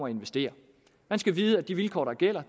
at investere man skal vide at de vilkår der gælder